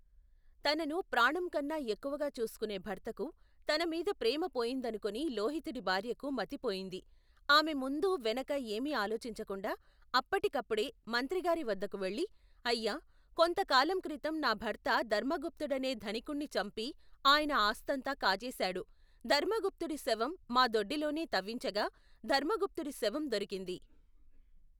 తనను ప్రాణంకన్నా ఎక్కువగా చూసుకునే భర్తకు తనమీద ప్రేమ పోయిందనుకుని లోహితుడి భార్యకు మతిపోయింది. ఆమె ముందు వెనక ఏమీ ఆలోచించకుండా అప్ప్పటికప్పుడే మంత్రిగారివద్దకు వెళ్ళి, అయ్యా కొంతకాలంక్రితం నాభర్త ధర్మగుప్తుడనే ధనికుణ్ణి చంపి ఆయన ఆస్తంతా కాజేశాడు. ధర్మగుప్తుడి శవం మా దొడ్డిలోనే తవ్వించగా ధర్మగుప్తుడి శవం దొరికింది.